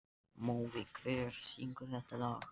Níelsi var rétt minnsta sveðjan sem til var um borð.